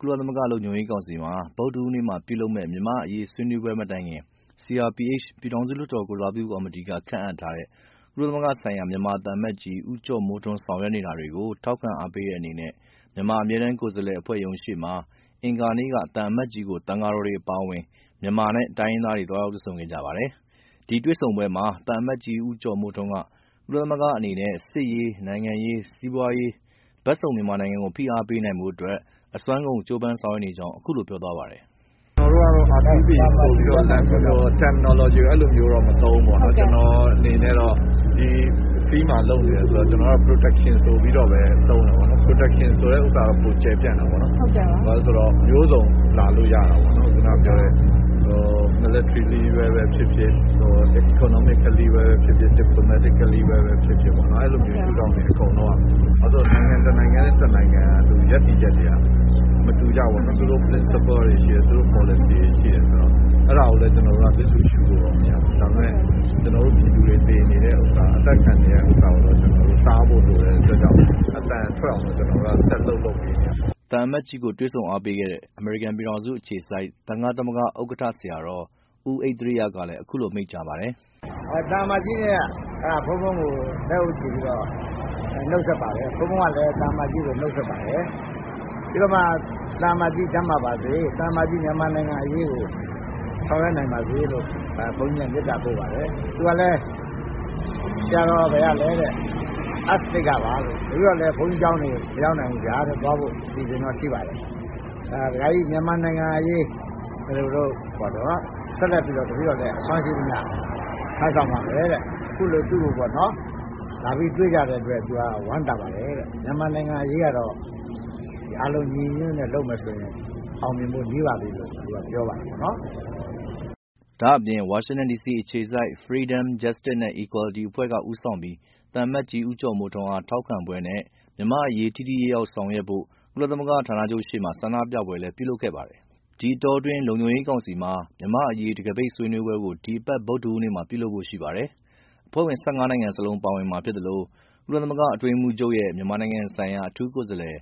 ကုလသမဂ္ဂလုံခြုံရေးကောင်စီမှာ ဗုဒ္ဓဟူးနေ့ ပြုလုပ်မယ့် မြန်မာ့အရေး ဆွေးနွေးပွဲမတိုင်ခင် ကုလသမဂ္ဂဆိုင်ရာ မြန်မာသံအမတ်ကြီး ဦးကျော်မိုးထွန်း ဆောင်ရွက်နေတာတွေကို ထောက်ခံအားပေးတဲ့အနေနဲ့ မြန်မာအမြဲတမ်းကိုယ်စားလှယ်အဖွဲ့ရုံးရှေ့မှာ အင်္ဂါနေ့က သံအမတ်ကြီးကို သံဃာတော်တွေအပါအဝင် မြန်မာနဲ့တိုင်းရင်းသားတွေ သွားရောက်တွေ့ဆုံခဲ့ကြပါတယ်။ အဲဒီတွေ့ဆုံပွဲမှာ သံအမတ်ကြီးဦးကျော်မိုးထွန်းက ကုလသမဂ္ဂအနေနဲ့ စစ်ရေး၊ နိုင်ငံရေး၊ စီးပွားရေး ဘက်စုံမြန်မာနိုင်ငံကို ဖိအားပေးနိုင်ဖို့အစွမ်းကုန် ကြိုးပမ်းဆောင်ရွက်နေကြောင်း အခုလိုပြောသွားပါတယ်။ “ကျနော်တို့ကတော့ R2P ဆိုပြီးတော့ Terminology ကို အဲလိုမျိုးမသုံးဘူးပေါ့နော်။ ကျနော့်အနေနဲ့ ဒီ Field မှာလုပ်နေတယ်ဆိုတော့ ကျနော်က Protection ဆိုပြီးတော့ပဲ သုံးတယ်ပေါေ့နာ်။ Protection ဆိုတာက ပိုကျယ်ပြန့်တာပေါ့နော် ဘာဖြစ်လို့လဲဆိုတော့ မျိုးစုံလာလို့ရတာပေါ့နော်။ ခုနပြောတဲ့ Military နည်းပဲဖြစ်ဖြစ် ၊ Economically နည်းပဲဖြစ်ဖြစ် ၊ Diplomatically နည်းပဲဖြစ်ဖြစ် အဲလိုရှုထောင့်တွေ အကုန်လုံးက ။ ဘာဖြစ်လို့လဲဆိုတော့ နိုင်ငံတနိုင်ငံရဲ့ ရပ်တည်ချက်တွေက မတူကြဘူးပေါ့နော် သူတို့ Principle တွေရှိတယ် သူတို့ ပေါ်လစီတွေရှိတယ်ဆိုတော့ အဲဒါကိုလည်း ကျနော်တို့က လစ်လျူရှုလို့မရဘူး ။ ဒါပေမယ့် ကျနော်တို့ ပြည်သူတွေ သေနေတဲ့ဟာက အသတ်ခံနေရတဲ့ဟာကိုတော့ တားဖို့လိုတဲ့အတွက်ကြောင့် အသံထွက်အောင်တော့ ကျနော်တို့ ဆက်လုပ်နေရပါမယ်။” သံအမတ်ကြီးကို တွေ့ဆုံအားပေးခဲ့တဲ့ အမေရိကန်ပြည်ထောင်စုအခြေစိုက် သံဃသမဂ္ဂ ဥက္ကဌ ဆရာတော် ဦးဣဿရိယက အခုလို မိန့်ကြားပါတယ်။ “သံအမတ်ကြီးက ဘုန်းဘုန်းကို လက်အုပ်ချီပြီးတော့ နှုတ်ဆက်ပါတယ်။ ဘုန်းဘုန်းကလည်း သံအမတ်ကြီးကို နှုတ်ဆက်ပါတယ်။ ပြီးတော့မှ သံအမတ်ကြီး ကျန်းမာပါစေ ၊ သံအမတ်ကြီး မြန်မာနိုင်ငံအရေးကို ဆောင်ရွက်နိုင်ပါစေလို့ ဘုန်းကြီးက မေတ္တာပို့ပါတယ်။ သူကလည်း..ဆရာတော် ဘယ်ကလဲတဲ့ ၊ Up State ကပါလို့ ၊ New York ဘုန်းကြီးကျောင်းတွေ မရောက်သေးဘူးဗျာ သွားဖို့ အစီအစဉ်ရှိပါတယ်တဲ့။ မြန်မာနိုင်ငံအရေးကို တပည့်တော် အစွမ်းရှိသမျှ ထမ်းဆောင်ပါ့မယ်တဲ့။ အခုလို လာပြီး သူ့ကို တွေ့ကြတဲ့အတွက် ဝမ်းသာပါတယ်တဲ့။ မြန်မာနိုင်ငံအရေးကတော့ အားလုံး ညီညီညွတ်ညွတ်နဲ့ လုပ်မယ်ဆိုရင် အောင်မြင်ဖို့ နီးပါပြီလို့ သူက ပြောပါတယ်ပေါ့နော်။” ဒါအပြင် ဝါရှင်တန်ဒီစီအခြေစိုက် Freedom, Justice, equality အဖွဲ့က ဦးဆောင်ပြီး သံအမတ်ကြီး ဦးကျော်မိုးထွန်းအားထောက်ခံပွဲနဲ့ မြန်မာ့အရေး ထိထိရောက်ရောက် ဆောင်ရွက်ဖို့ ကုလသမဂ္ဂဌာနချုပ်ရှေ့မှာ ဆန္ဒပြပွဲလည်းပြုလုပ်ခဲ့ပါတယ်။ ဒီအတောအတွင်း လုံခြုံရေးကောင်စီအဖွဲ့ဝင် နိုင်ငံလုံးပါဝင်တဲ့ မြန်မာ့အရေး တံခါးပိတ်ဆွေးနွေးပွဲကို ဒီကနေ့ ဗုဒ္ဓဟူးနေ့မှာ ပြုလုပ်ဖို့ရှိပါတယ်။ ဒီဆွေးနွေးပွဲမှာ ကုလသမဂ္ဂအတွင်းရေးမှူးချုပ်ရဲ့ မြန်မာနိုင်ငံဆိုင်ရာ အထူးကိုယ်စားလှယ်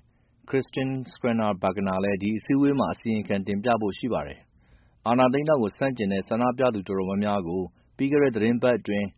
Christine Schraner Burgener လည်း ဒီအစည်းအဝေးမှာ မြန်မာနိုင်ငံရဲ့ နောက်ဆုံးအခြေအနေကို အစီရင်ခံတင်ပြဖို့ရှိပါတယ်။ အာဏာသိမ်းတာကို ဆန့်ကျင်တဲ့ ဆန္ဒပြသူတော်တော်များများကို ပြီးခဲ့တဲ့ သီတင်းပတ်အတွင်း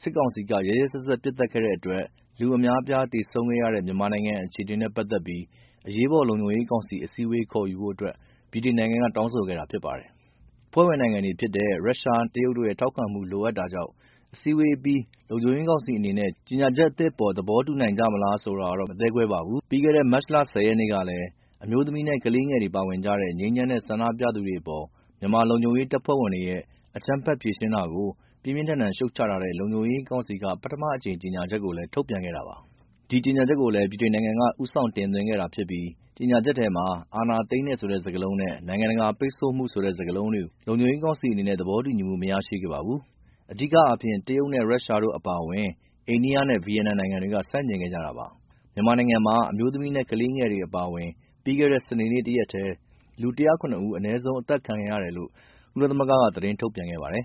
စစ်ကောင်စီက ရက်ရက်စက်စက် ပစ်သတ်ခဲ့တဲ့အတွက် လူအများအပြားသေဆုံးခဲ့ရတဲ့ မြန်မာနိုင်ငံအခြေအနေနဲ့ပက်သက်ပြီး အရေးပေါ်လုံခြုံရေးကောင်စီအစည်းအဝေးခေါ်ယူဖို့ ဗြိတိန်နိုင်ငံက တောင်းဆိုခဲ့တာဖြစ်ပါတယ်။ အဖွဲ့ဝင်နိုင်ငံတွေဖြစ်တဲ့ ရုရှနဲ့တရုတ်တို့ရဲ့ ထောက်ခံမှုလိုအပ်တာကြောင့် အစည်းအဝေးအပြီး လုံခြုံရေးကောင်စီအနေနဲ့ကြေညာချက်သစ်အပေါ် သဘောတူနိုင်မကြလားဆိုတာကတော့ မသဲကွဲပါဘူး။ ပြီးခဲ့တဲ့ မတ်လ ၁၀ ရက်နေ့ကလည်း အမျိူးသမီးနဲ့ကလေးငယ်တွေပါဝင်ကြတဲ့ ငြိမ်းချမ်းတဲ့ ဆန္ဒပြသူတွေအပေါ် မြန်မာလုံခြုံရေးတပ်ဖွဲ့ဝင်တွေရဲ့ အကြမ်းဖက်ဖြေရှင်းတာကို ပြင်းပြင်းထန်ထန် ရှုတ်ချထားတဲ့ လုံခြုံရေးကောင်စီက ပထမအကြိမ်ကြေညာချက်ကို ထုတ်ပြန်ထားတာပါ။ ဒီ ကြေညာချက်ကိုလည်း ဗြိတိန်နိုင်ငံက ဦးဆောင်တင်သွင်းခဲ့တာဖြစ်ပြီး ကြေညာချက်ထဲမှာ အာဏာသိမ်းတယ်ဆိုတဲ့ စကားလုံးနဲ့နိုင်ငံတကာ ပိတ်ဆို့မှုဆိုတဲ့ စကားလုံးတွေ လုံခြုံရေးကောင်စီအနေနဲ့သဘောတူညီမှု မရရှိခဲ့ပါဘူး။ အဓိကအားဖြင့် ရုရှနဲ့တရုတ်တို့အပါအဝင် အိန္ဒိယ၊ ဗီယက်နမ်နိုင်ငံတွေက ဆန့်ကျင်ခဲ့ကြတာပါ။ မြန်မာနိုင်ငံမှာ အမျိူးသမီးနဲ့ကလေးငယ်တွေအပါအဝင် ပြီးခဲ့တဲ့ စနေနေ့တရက်ထဲ လူ ၁၀၇ ဦး အနည်းဆုံး အသတ်ခံခဲ့ရတယ်လို့ ကုလသမဂ္ဂက သတင်းထုတ်ပြန်ခဲ့ပါတယ်